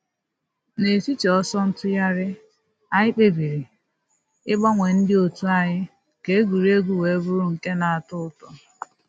N’etiti ọsọ ntụgharị, anyị kpebiri ịgbanwe ndị òtù anyi ka egwuregwu wee bụrụ nke na.-atọ ụtọ.